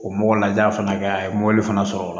O mɔgɔ laja fana kɛ a ye mobili fana sɔrɔ